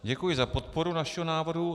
Děkuji za podporu našeho návrhu.